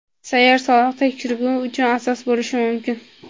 sayyor soliq tekshiruvi uchun asos bo‘lishi mumkin.